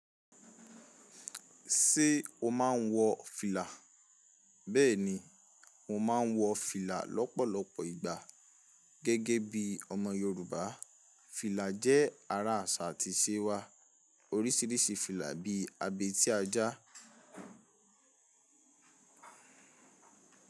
Ṣé o máa ń wọ fìlà? Bẹ́ẹ̀ni, mo máa ń wọ fìlà lọ́pọ̀lọpọ̀ ìgbà. Gẹ́gẹ́ bí ọmọ Yorùbá, fìlà jẹ́ ara àṣà àti ìṣe wa. Oríṣiríṣi fìlà bíi abẹ́ tí ajá.